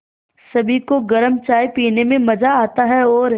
सभी को गरम चाय पीने में मज़ा आता है और